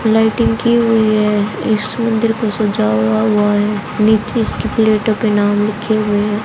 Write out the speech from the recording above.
Lighting की हुई है इस मंदिर को सजाया हुआ है नीचे इस की प्लेटों पे नाम लिखे हुए हैं।